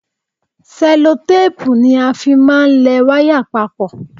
Ṣẹlotéèpù ni a fi máa ń lẹ wáyà papọ̀